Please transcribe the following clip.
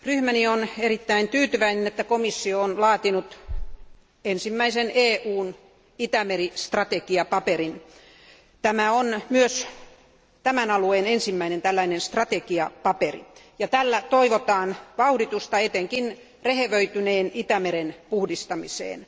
Arvoisa puhemies, ryhmäni on erittäin tyytyväinen, että komissio on laatinut ensimmäisen EUn Itämeri strategiapaperin. Tämä on myös tämän alueen ensimmäinen tällainen strategiapaperi ja tällä toivotaan vauhditusta etenkin rehevöityneen Itämeren puhdistamiseen.